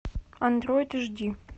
андроид эш ди